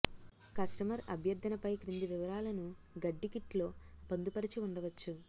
customer అభ్యర్థనపై క్రింది వివరాలను గడ్డి కిట్ లో పొందుపరిచి ఉండవచ్చు